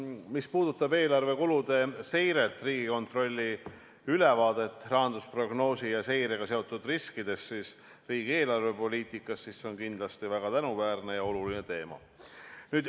Mis puudutab eelarve kulude seiret ning Riigikontrolli ülevaadet rahandusprognoosi ja -seirega seotud riskidest riigi eelarvepoliitikas, siis see on kindlasti väga tänuväärne ja oluline teema.